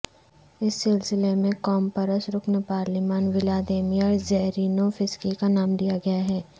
اس سلسلے میں قوم پرست رکن پارلیمان ولادیمیر زیرینوفسکی کا نام لیاگیا ہے